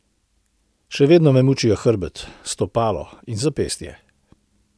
Še vedno me mučijo hrbet, stopalo in zapestje.